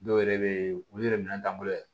Dɔw yɛrɛ be yen olu yɛrɛ minɛn t'an bolo yɛrɛ